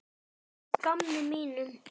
Bara að gamni mínu.